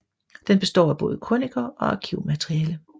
Den består af både krøniker og arkivmateriale